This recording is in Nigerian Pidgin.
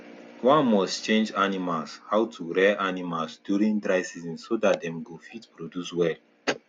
one must change animals how to rear animals during dry season so that dem go fit produce well